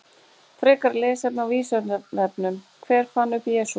Frekara lesefni á Vísindavefnum: Hver fann upp Jesú?